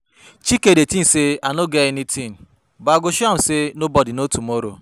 Chike dey think say I no get anything but I go show am say nobody know tomorrow